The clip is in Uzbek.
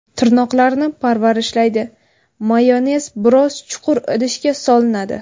Tirnoqlarni parvarishlaydi Mayonez biroz chuqur idishga solinadi.